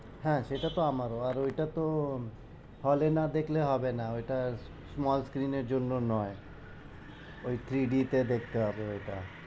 হ্যাঁ সেটা তো আমারও আর ওইটা তো hall এ না দেখলে হবে না ওইটার small screen জন্যে নয় ওই three d দেখতে হবে ওই টা।